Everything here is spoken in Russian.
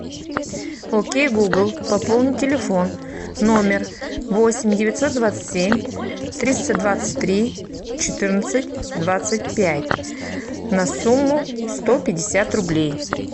окей гугл пополни телефон номер восемь девятьсот двадцать семь триста двадцать три четырнадцать двадцать пять на сумму сто пятьдесят рублей